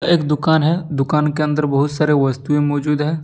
एक दुकान है दुकान के अंदर बहुत सारे वस्तुएं मौजूद है।